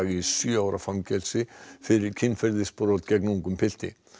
í sjö ára fangelsi fyrir kynferðisbrot gegn ungum pilti